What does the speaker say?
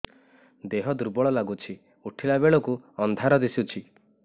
ଦେହ ଦୁର୍ବଳ ଲାଗୁଛି ଉଠିଲା ବେଳକୁ ଅନ୍ଧାର ଦିଶୁଚି